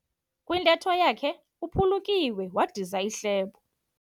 Kwintetho yakhe uphulukiwe wadiza ihlebo.